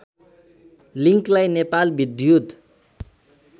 लिङ्कलाई नेपाल विद्युत